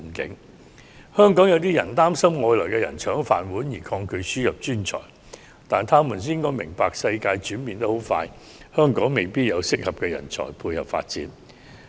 部分香港人擔心外來人才會搶去本地人的"飯碗"，因而抗拒輸入專才，但他們應該明白，世界急速轉變，香港未必有適合人才配合最新發展。